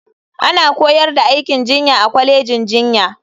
Ana koyar da aikin jinya a kwalejin jinya.